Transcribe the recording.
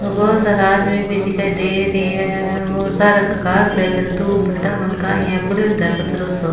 बहुत सारा आदमी भी दिखाई देरी है और बहुत सारा घास है पड़यो तो है कचरों सो।